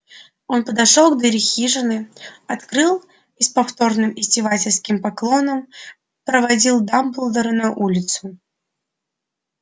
он подошёл к двери хижины открыл и с повторным издевательским поклоном проводил дамблдора на улицу